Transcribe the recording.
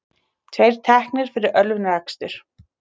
Tveir teknir fyrir ölvunarakstur